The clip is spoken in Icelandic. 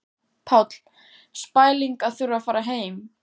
Páll: Spæling að þurfa að fara heim?